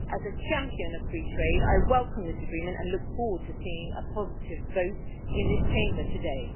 As a champion of free trade, I welcome this Agreement and look forward to seeing a positive vote in this Chamber today.